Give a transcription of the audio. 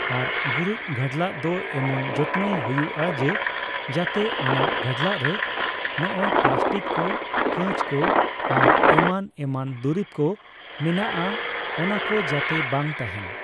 ᱟᱨ ᱜᱩᱨᱤᱡ ᱜᱷᱟᱰᱞᱟᱜ ᱫᱚ ᱮᱢᱚᱱ ᱡᱚᱛᱱᱚᱭ ᱦᱩᱭᱩᱜᱼᱟ ᱡᱮ ᱡᱟᱛᱮ ᱚᱱᱟ ᱜᱷᱟᱰᱞᱟᱜ ᱨᱮ ᱱᱚᱜᱚᱭ ᱯᱞᱟᱥᱴᱤᱠ ᱠᱚ ᱠᱟᱸᱪᱠᱚ ᱟᱨᱚ ᱮᱢᱟᱱ ᱮᱢᱟᱱᱫᱩᱨᱤᱵ ᱠᱚ ᱢᱮᱱᱟᱜᱼᱟ ᱚᱱᱟᱠᱚ ᱡᱟᱛᱮ ᱵᱟᱝ ᱛᱟᱦᱮᱸᱱ